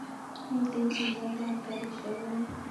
Miten chilet ap karishek neo